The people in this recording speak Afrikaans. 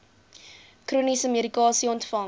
chroniese medikasie ontvang